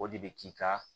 O de bɛ k'i ka